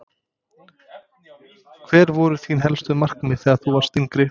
Hver voru þín helstu markmið þegar þú varst yngri?